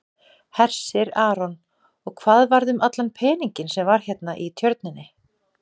Hersir Aron: Og hvað varð um allan peninginn sem var hérna í tjörninni?